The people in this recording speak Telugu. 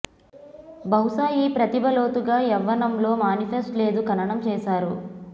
బహుశా ఈ ప్రతిభ లోతుగా యవ్వనంలో మానిఫెస్ట్ లేదు ఖననం చేశారు